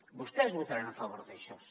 vostès votaran a favor d’això